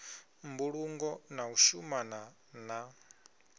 mbulungo na u shumana na